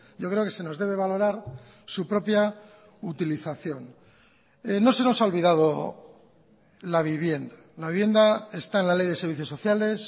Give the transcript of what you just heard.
yo creo que se nos debe valorar su propia utilización no se nos ha olvidado la vivienda la vivienda está en la ley de servicios sociales